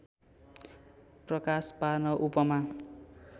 प्रकाश पार्न उपमा